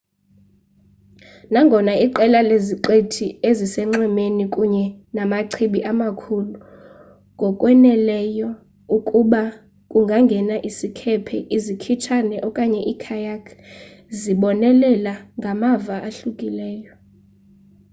nangona iqela leziqithi ezisenxwemeni kunye namachibi emakhulu ngokwaneleyo ukuba kungangena isikhephe izikhitshana okanye ii-kayak zibonelela ngamava ahlukileyo